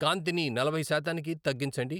కాంతిని నలభై శాతానికి తగ్గించండి